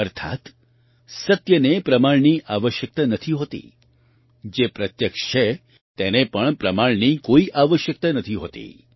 અર્થાત્ સત્યને પ્રમાણની આવશ્યકતા નથી હોતી જે પ્રત્યક્ષ છે તેને પણ પ્રમાણની કોઈ આવશ્યકતા નથી હોતી